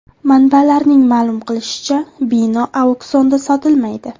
Manbalarning ma’lum qilishicha, bino auksionda sotilmaydi.